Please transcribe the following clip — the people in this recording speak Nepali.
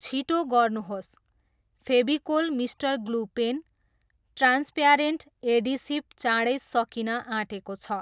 छिटो गर्नुहोस्, Fevicol mister glue pen, transparent adhesive चाँडै सकिन आँटेको छ।